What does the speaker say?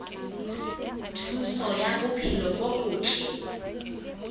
thuso ya bophelo bo botle